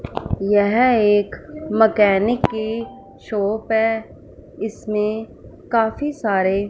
यह एक मकैनिक की शॉप है इसमें काफी सारे--